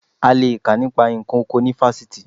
A le è kà nípa nǹkan oko ní fásitì